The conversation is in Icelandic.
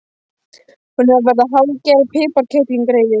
Hún er að verða hálfgerð piparkerling, greyið.